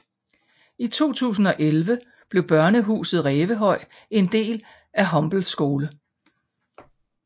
I 2011 blev Børnehuset Rævehøj en del af Humble Skole